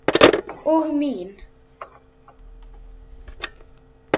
Og mín.